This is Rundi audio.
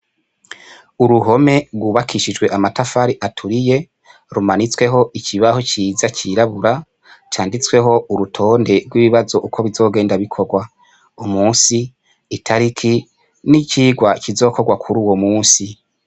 Uruhome rwukabishijwe amatafari aturiye rumanitsweho ikibaho ciza cirabura canditsweho urutonde rwibibazo uko bizogenda bikorwa, umunsi itariki n'icigwa kizokorwa kuruwo munsi.